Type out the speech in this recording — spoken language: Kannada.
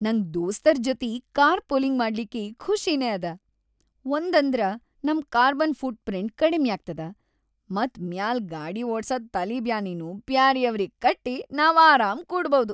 ನಂಗ್‌ ದೋಸ್ತರ್‌ ಜೊತಿ ಕಾರ್‌ ಪೂಲಿಂಗ್‌ ಮಾಡ್ಲಿಕ್ಕಿ ಖುಷಿನೇ ಅದ, ಒಂದಂದ್ರ ನಂ ಕಾರ್ಬನ್‌ ಫೂಟ್‌ ಪ್ರಿಂಟ್‌ ಕಡಿಮ್ಯಾಗ್ತದ ಮತ್‌ ಮ್ಯಾಲ್‌ ಗಾಡಿ ಓಡ್ಸ ತಲಿಬ್ಯಾನಿನೂ ಬ್ಯಾರೆಯವ್ರಿಗಿ ಕಟ್ಟಿ ನಾವ್‌ ಆರಾಮ್‌ ಕೂಡ್ಬೌದು.